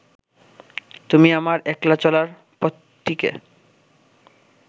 তুমি আমার একলা চলার পথটিকে